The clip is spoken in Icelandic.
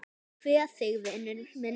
Ég kveð þig vinur minn.